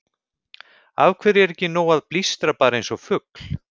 Af hverju er ekki nóg að blístra bara eins og fugl?